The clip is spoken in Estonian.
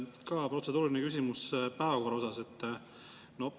Ka protseduuriline küsimus päevakorra kohta.